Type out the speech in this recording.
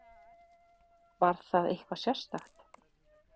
Var það eitthvað sérstakt?